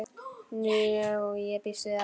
Jú, ég býst við því.